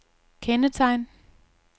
kendetegn